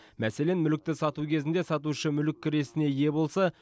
мәселен мүлікті сату кезінде сатушы мүлік кірісіне ие болса